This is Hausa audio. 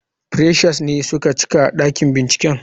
Freshers ne suka cika dakin binciken.